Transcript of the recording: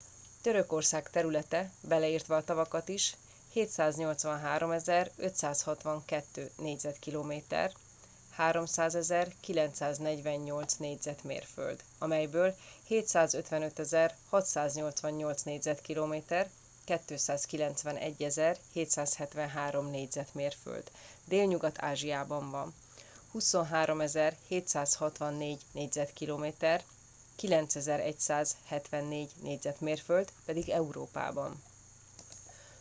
törökország területe - beleértve a tavakat is - 783 562 négyzetkilométer 300 948 négyzetmérföld melyből 755 688 négyzetkilométer 291 773 négyzetmérföld délnyugat-ázsiában van 23 764 négyzetkilométer 9174 négyzetmérföld pedig európában